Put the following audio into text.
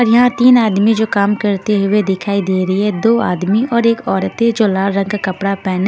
और यहां तीन आदमी जो काम करते हुए दिखाई दे रही है दो आदमी और एक औरतें जो लाल रंग का कपड़ा पहने--